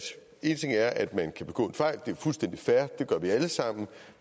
én ting er at man kan begå en fejl det er fuldstændig fair det gør vi alle sammen